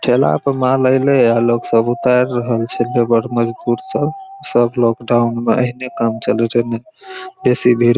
ठेला पर माल एले या लोग सब उतार रहल छै लेबर मजदुर सब सब लोकडाउन में हेने काम चले छै एने बेसी भीड़ --